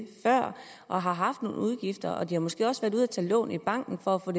før og har haft nogle udgifter og de har måske også været ude at tage lån i banken for at få